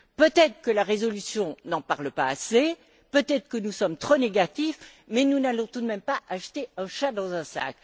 Peut être que la résolution n'en parle pas assez, peut être que nous sommes trop négatifs, mais nous n'allons quand même pas acheter un chat dans un sac.